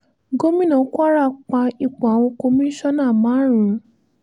gomina kwara pa ipò àwọn kọmíṣánná márùn um